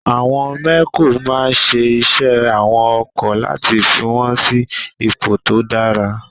Àwọn mẹ́kò máa ń ṣe iṣẹ́ àwọn ọkọ̀ láti fi wọ́n sí ipò tó dára.